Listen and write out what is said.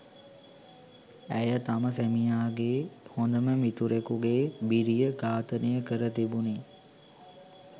ඇය තම සැමියාගේ හොඳම මිතුරකුගේ බිරිය ඝාතනය කර තිබුණේ